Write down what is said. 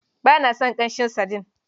Ba na son ƙanshin sadin?